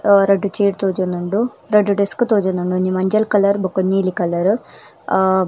ಆ ರಡ್ಡ್ ಚೇರ್ ತೋಜೊಂದುಂಡು ರಡ್ಡ್ ಡೆಸ್ಕ್ ತೋಜೊಂದುಂಡು ಒಂಜಿ ಮಂಜಲ್ ಕಲರ್ ಬೊಕ ಒಂಜಿ ನೀಲಿ ಕಲರ್ ಅ.